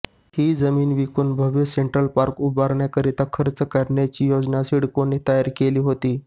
ही जमीन विकून भव्य सेंट्रल पार्क उभारण्याकरिता खर्च करण्याची योजना सिडकोने तयार केली होती